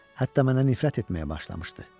Hətta mənə nifrət etməyə başlamışdı.